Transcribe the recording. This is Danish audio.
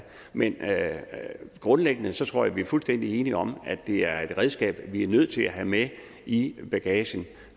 men grundlæggende tror jeg at vi fuldstændig enige om at det er et redskab vi er nødt til at have med i bagagen